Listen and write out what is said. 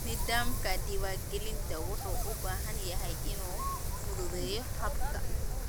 Nidaamka diiwaangelinta wuxuu u baahan yahay inuu fududeeyo habka.